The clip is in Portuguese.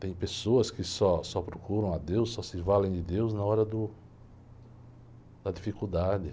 Tem pessoas que só, só procuram a Deus, só se valem de Deus na hora do, da dificuldade.